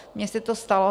Mně se to stalo.